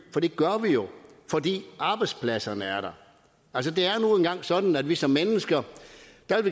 for det gør vi jo fordi arbejdspladserne er der altså det er nu engang sådan at vi som mennesker